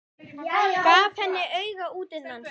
Gaf henni auga útundan sér.